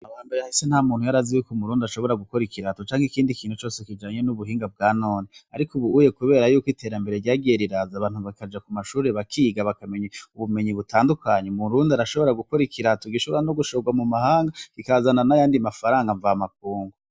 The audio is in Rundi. Amabamba yahise nta muntu yarazi yuko murundi ashobora gukora ikilato canke ikindi kintu cose kijanye n'ubuhinga bwa none, ariko ubuuye, kubera yuko iterambere ryageriraza abantu bakaja ku mashurire bakiga bakamenya ubumenyi butandukanyi murundi arashobora gukora ikirato gishobora no gushorwa mu mahanga gikazana n'ayandi mafaranga mva makungo.